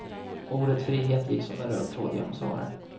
Ordet frihet gick som en röd tråd genom svaren.